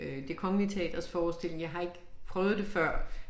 Øh Det Kongelige Teaters forestilling jeg har ikke prøvet det før